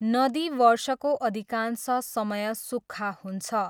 नदी वर्षको अधिकांश समय सुक्खा हुन्छ।